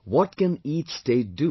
What can each state do